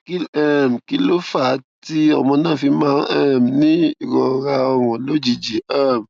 um kí ló fà á tí ọmọ náà fi máa ń um ní ìrora orun lójijì um